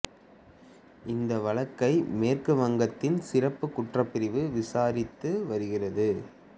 இந்த வழக்கை மேற்கு வங்கத்தின் சிறப்பு குற்றப் பிரிவு விசாரித்து வருகிறது